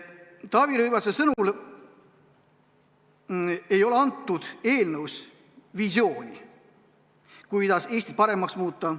Taavi Rõivase sõnul ei ole eelnõus visiooni, kuidas Eestit paremaks muuta.